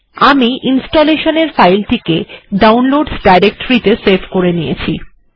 আমি installation file টিকে ডাউনলোডসহ ডিরেক্টরি তে সেভ্ করে নিয়েছি